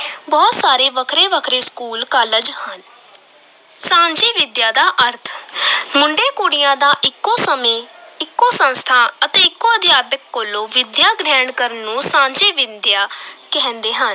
ਬਹੁਤ ਸਾਰੇ ਵੱਖਰੇ-ਵੱਖਰੇ school, college ਹਨ ਸਾਂਝੀ ਵਿਦਿਆ ਦਾ ਅਰਥ ਮੁੰਡੇ ਕੁੜੀਆਂ ਦਾ ਇੱਕੋ ਸਮੇਂ, ਇੱਕੋ ਸੰਸਥਾ ਅਤੇ ਇੱਕੋ ਅਧਿਆਪਕ ਕੋਲੋਂ ਵਿੱਦਿਆ ਗ੍ਰਹਿਣ ਕਰਨ ਨੂੰ ਸਾਂਝੀ ਵਿਦਿਆ ਕਹਿੰਦੇ ਹਨ।